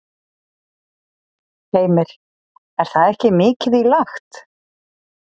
Heimir: Er það ekki mikið í lagt?